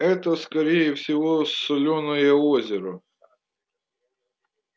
это скорее всего солёное озеро